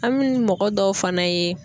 An mɛ mɔgɔ dɔw fana ye